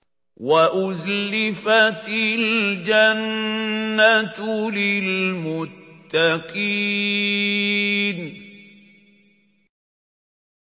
وَأُزْلِفَتِ الْجَنَّةُ لِلْمُتَّقِينَ